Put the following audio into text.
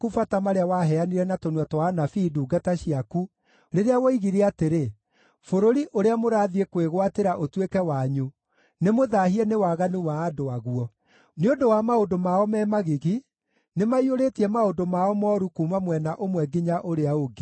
marĩa waheanire na tũnua twa anabii ndungata ciaku, rĩrĩa woigire atĩrĩ, ‘Bũrũri ũrĩa mũrathiĩ kwĩgwatĩra ũtuĩke wanyu nĩmũthaahie nĩ waganu wa andũ aguo. Nĩ ũndũ wa maũndũ mao me magigi, nĩmaũiyũrĩtie maũndũ mao mooru kuuma mwena ũmwe nginya ũrĩa ũngĩ.